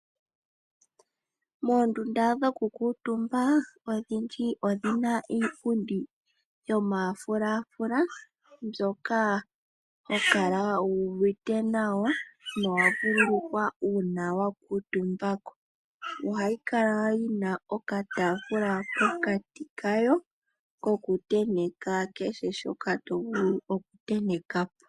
Moondunda dhoku kuutumba odhindji odhina iipundi yomafula fula mbyoka hokala wuuvite nawa nowa vululukwa uuna wakuutumba ko. Ohayi kala yi na okataafula pokati kayo koku tenteka kehe shoka tovulu okutenteka ko.